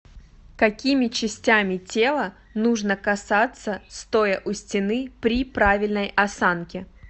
какими частями тела нужно касаться стоя у стены при правильной осанке